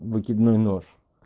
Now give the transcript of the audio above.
выкидной нож